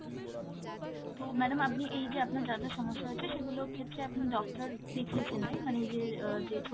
তো madam আপনি এইযে আপনার যা যা সমস্যা হয়েছে সেগুলোর ক্ষেত্রে আপনি doctor দেখিয়েছেন right? মানে এইযে আহ ছোটো